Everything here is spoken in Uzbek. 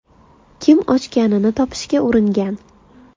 Kim ochganini topishga uringan.